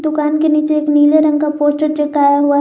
दुकान के नीचे एक नीले रंग का पोस्टर चिपकाया हुआ है।